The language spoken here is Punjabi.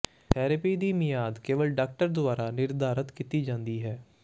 ਥੈਰੇਪੀ ਦੀ ਮਿਆਦ ਕੇਵਲ ਡਾਕਟਰ ਦੁਆਰਾ ਨਿਰਧਾਰਤ ਕੀਤੀ ਜਾਂਦੀ ਹੈ